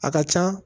A ka can